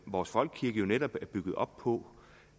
vores folkekirke er netop bygget op på